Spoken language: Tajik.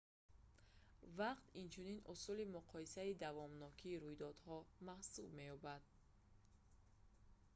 вақт инчунин усули муқоисаи давомнокии мудовамат ​​рӯйдодҳо маҳсуб меёбад